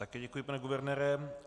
Také děkuji, pane guvernére.